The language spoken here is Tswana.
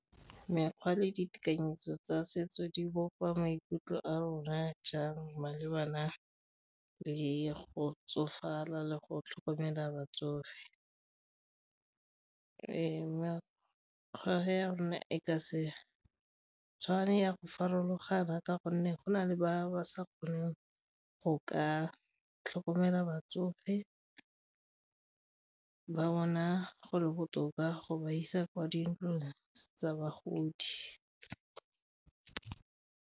Mekgwa le ditekanyetso tsa setso di bopa maikutlo a rona jang malebana le go tsofala le go tlhokomela batsofe ya rona e ka se tshwane ya go farologana ka gonne go na le ba ba sa kgoneng go ka tlhokomela batsofe, ba bona go le botoka go ba isa kwa dintlong tsa bagodi.